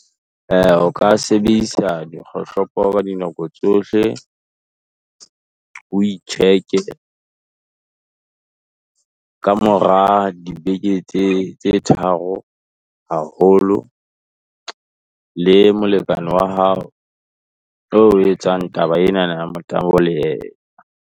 O ka sebedisa dikgohlopo ka dinako tsohle, o e check-e, ka mora dibeke tse tharo haholo, le molekane wa hao, oo o etsang taba enana ya motabo le yena.